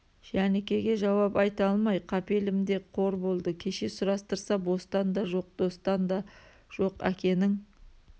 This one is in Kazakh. жәнікеге жауап айта алмай қапелімде қор болды кеше сұрастырса бостан да жоқ достан да жоқ әкенің